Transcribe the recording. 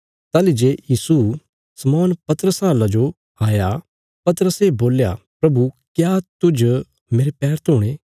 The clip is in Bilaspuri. ताहली जे यीशु शमौन पतरसा लौ आया पतरसे बोल्या प्रभु क्या तुज मेरे पैर धोणे